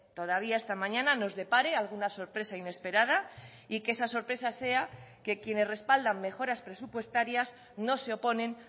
todavía esta mañana nos depare alguna sorpresa inesperada y que esa sorpresa sea que quienes respaldan mejoras presupuestarias no se oponen